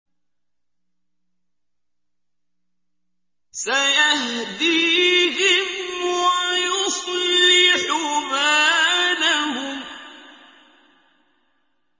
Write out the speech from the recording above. سَيَهْدِيهِمْ وَيُصْلِحُ بَالَهُمْ